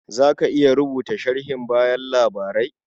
Za ka iya rubuta sharhin bayan labarai?